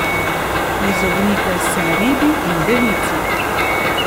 Izognite se ribi in devici.